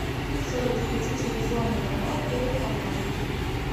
салют включи телевизионный канал первый канал